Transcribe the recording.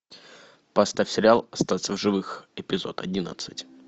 поставь сериал остаться в живых эпизод одиннадцать